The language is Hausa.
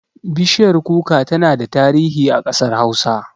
Bishiyar kuka tana da tarihi a ƙasar hausa